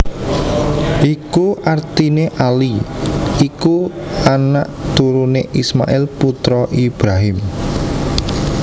Iku artiné Ali iku anak turuné Ismail putra Ibrahim